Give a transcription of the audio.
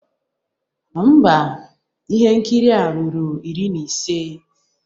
Mba, ihe nkiri a ruru iri na ise